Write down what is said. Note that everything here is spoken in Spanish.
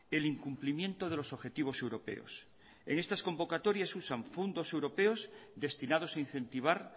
el incumplimiento de los objetivos europeos en estas convocatorias usan fondos europeos destinados a incentivar